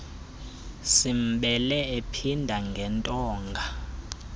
simbele emphinda ngentonga